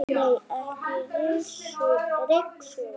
Nei, ekki ryksuga þau.